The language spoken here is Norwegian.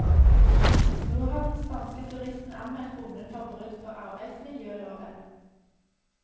Nå har den spanske turisten anmeldt bonden for brudd på arbeidsmiljøloven.